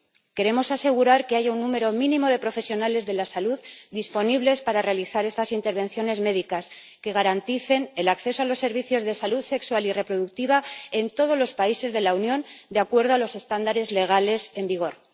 Queremos asegurar que haya un número mínimo de profesionales de la salud disponibles para realizar estas intervenciones médicas, que garanticen el acceso a los servicios de salud sexual y reproductiva en todos los países de la Unión de acuerdo a los estándares legales en vigor.